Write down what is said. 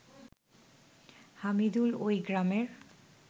হামিদুল ওই গ্রামের